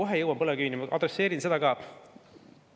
Kohe jõuan põlevkivini, adresseerin seda ka.